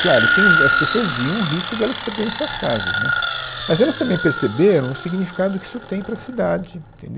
Claro, tem o, as pessoas viam o risco de elas perderem suas casas, né, mas elas também perceberam o significado que isso tem para a cidade, entendeu